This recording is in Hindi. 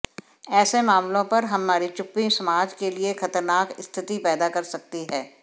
ऐसे मामलों पर हमारी चुप्पी समाज के लिए खतरनाक स्थिति पैदा कर सकती है